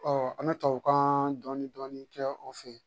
an bɛ tubabukan dɔɔnin dɔɔnin kɛ o fɛ yen